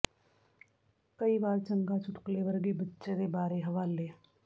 ਕਈ ਵਾਰ ਚੰਗਾ ਚੁਟਕਲੇ ਵਰਗੇ ਬੱਚੇ ਦੇ ਬਾਰੇ ਹਵਾਲੇ